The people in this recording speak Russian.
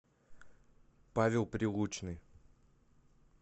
павел прилучный